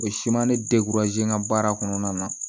O siman ne n ka baara kɔnɔna na